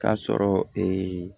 K'a sɔrɔ